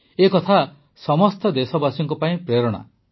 ଏ କଥା ସମସ୍ତ ଦେଶବାସୀଙ୍କ ପାଇଁ ପ୍ରେରଣା ଅଟେ